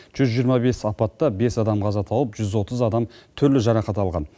жүз жиырма бес апатта бес адам қаза тауып жүз отыз адам түрлі жарақат алған